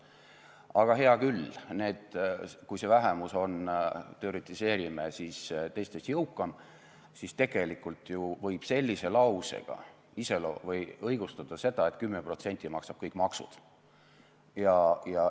Aga hea küll, kui see vähemus on – teoretiseerime – teistest jõukam, siis tegelikult võib sellise lausega õigustada seda, et 10% maksab kõik maksud.